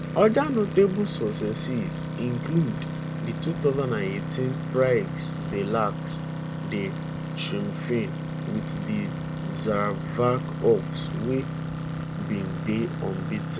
other notable successes include di 2008 prix de larc de triomphe with di zarkava horse wey bin dey unbea ten